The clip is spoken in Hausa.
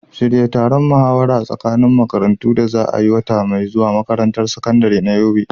Shirya taron muhawara tsakanin makarantu da za a yi wata mai zuwa a makarantar sakandare ta Yobe.